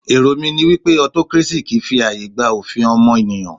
Èrò mí ní wípé autocracy kìí fi ààyè gba òfin ọmọnìyàn.